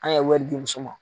An ye wɛri di muso ma.